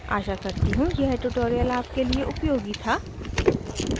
आशा करती हूँ यह ट्यूटोरियल आपके लिए उपयोगी था